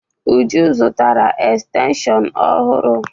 Uju zụtara estenshịon ọhụrụ.